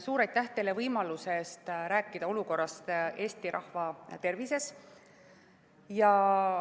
Suur aitäh teile võimaluse eest rääkida Eesti rahva tervise olukorrast!